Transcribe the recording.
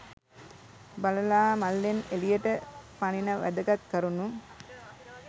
බළලා මල්ලෙන් එළියට පණින වැදගත් කරුණු